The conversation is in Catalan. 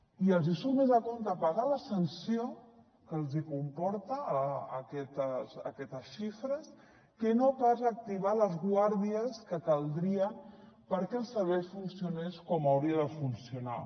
i els hi surt més a compte pagar la sanció que els comporten aquestes xifres que no pas activar les guàrdies que caldrien perquè el servei funcionés com hauria de funcionar